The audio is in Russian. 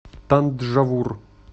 танджавур